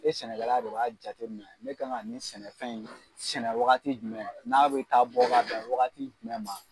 E sɛnɛkɛla de b'a jate minɛ ne kan ka nin sɛnɛfɛn in sɛnɛ wagati jumɛn n'a bɛ taa bɔ ka bɛn wagati jumɛn ma.